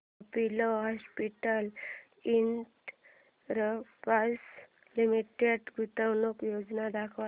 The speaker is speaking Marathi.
अपोलो हॉस्पिटल्स एंटरप्राइस लिमिटेड गुंतवणूक योजना दाखव